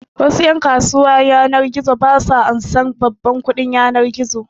Wasu ƴan kasuwan yanar gizo su ba ansan babban kuɗin yanar gizo